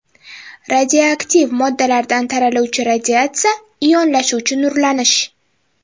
Radioaktiv moddalardan taraluvchi radiatsiya ionlashuvchi nurlanish.